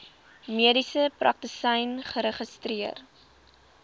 mediese praktisyn geregistreer